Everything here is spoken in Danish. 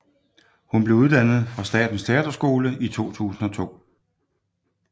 Hun blev uddannet fra Statens Teaterskole i 2002